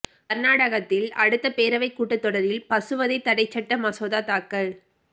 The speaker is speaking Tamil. கா்நாடகத்தில் அடுத்த பேரவைக் கூட்டத் தொடரில்பசுவதை தடைச் சட்ட மசோதா தாக்கல்